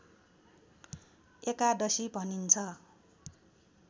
एकादशी भनिन्छ